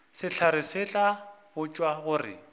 sehlare se tla botšwa gore